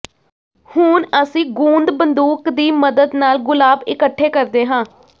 ਹੁਣ ਅਸੀਂ ਗੂੰਦ ਬੰਦੂਕ ਦੀ ਮਦਦ ਨਾਲ ਗੁਲਾਬ ਇਕੱਠੇ ਕਰਦੇ ਹਾਂ